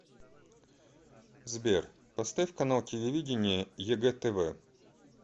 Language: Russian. сбер поставь канал телевидения егэ тв